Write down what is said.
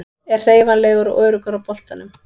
Er hreyfanlegur og öruggur á boltanum.